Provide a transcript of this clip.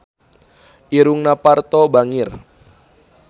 Irungna Parto bangir